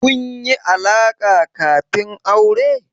Kun yi alaƙa kafin aure?